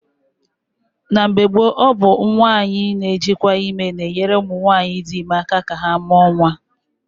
Na mgbe gboo, ọ bụ nwaanyị na-ejikwa ime na-enyere ụmụ nwaanyị dị ime aka ka ha mụọ nwa.